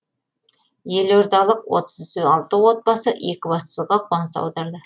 елордалық отыз алты отбасы екібастұзға қоныс аударды